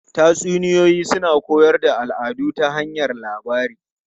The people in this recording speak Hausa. Tatsuniyoyi suna koyar da al'adu ta hanyar labari.